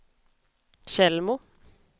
Tjällmo